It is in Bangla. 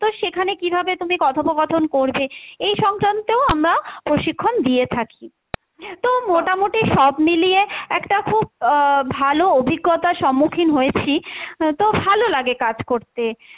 তো সেখানে কীভাবে তুমি কথোপকথন করবে এই সংক্রান্ত আমরা প্রশিক্ষন দিয়ে থাকি। তো মোটামুটি সব মিলিয়ে একটা খুব আহ ভালো অভিজ্ঞতার সম্মখীন হয়েছি, তো ভালো লাগে কাজ করতে।